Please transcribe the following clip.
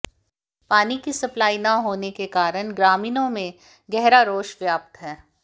पानी की सप्लाई न होने के कारण ग्रामीणों में गहरा रोष व्याप्त है